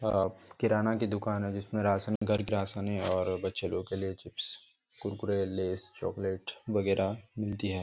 और किराना की दुकान है जिसमे घर क राशन और बचे लोग क लिए चिप्स कुरकुरे लैस चॉकलेट वगैरा मिलती है।